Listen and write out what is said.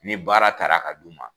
Ni baara taara a ka d' u ma.